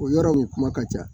O yɔrɔ nin kuma ka ca